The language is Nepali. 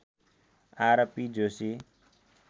आरपी जोशी